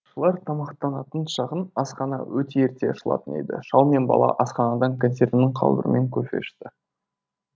балықшылар тамақтанатын шағын асхана өте ерте ашылатын еді шал мен бала асханадан консервінің қалбырымен кофе ішті